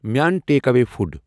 مےٚ اَن take away food